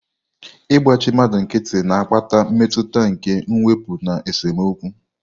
Igbachi mmadu nkiti na-akpata mmetụta nke mwepu na esemokwu.